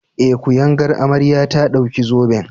Eh, kuyangar amarya ta ɗauki zoben.